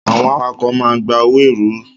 Àwọn awakọ̀ máa ń gba owó ẹrù ltd.